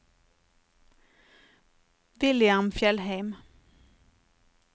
William Fjellheim